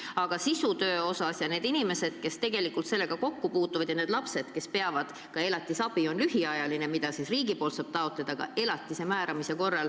Aga sisulise töö seisukohalt on see väga tähtis – tegelikult on väga palju inimesi, kes selle probleemiga kokku puutuvad.